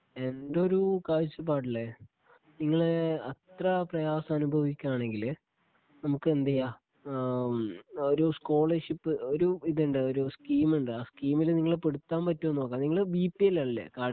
എൻ്റെ ഒരു കാഴ്ചപ്പാടില് നിങ്ങള് അത്ര പ്രയാസം അനുഭവിക്കുവാണെങ്കില് നമുക്കെന്ത് ചെയ്യാം ഏഹ് മ് ഒരു സ്കോളർഷിപ്പ് ഒരു ഇത് ഉണ്ട് ഒരു സ്കീമ് ഉണ്ട് ആ സ്കീമില് നിങ്ങളെ പെടുത്താൻ പറ്റുമോന്ന് നോക്കാം നിങ്ങള് ഉള്ള ബിപിഎൽ അല്ലേ കാർഡ്